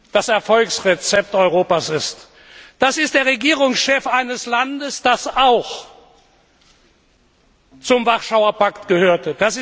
das Erfolgsrezept Europas ist. Das ist der Regierungschef eines Landes, das auch zum Warschauer Pakt gehörte.